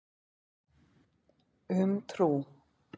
Um trú.